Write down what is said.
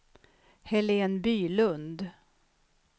Helene Bylund